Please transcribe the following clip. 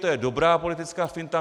To je dobrá politická finta.